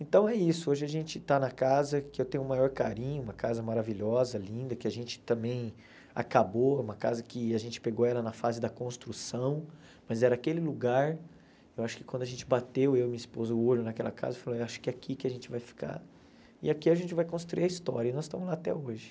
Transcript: Então é isso, hoje a gente está na casa que eu tenho o maior carinho, uma casa maravilhosa, linda, que a gente também acabou, uma casa que a gente pegou ela na fase da construção, mas era aquele lugar, eu acho que quando a gente bateu, eu e minha esposa, o olho naquela casa, eu falei, acho que é aqui que a gente vai ficar, e aqui a gente vai construir a história, e nós estamos lá até hoje.